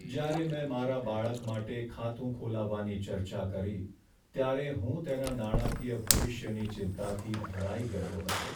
જ્યારે મેં મારા બાળક માટે ખાતું ખોલવાની ચર્ચા કરી, ત્યારે હું તેના નાણાંકીય ભવિષ્યની ચિંતાથી ભરાઈ ગયો હતો.